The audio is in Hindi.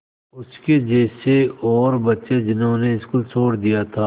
उसके जैसे और बच्चे जिन्होंने स्कूल छोड़ दिया था